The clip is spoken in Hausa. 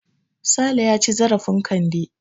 Sale ya ci zarafin Kande.